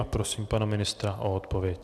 A prosím pana ministra o odpověď.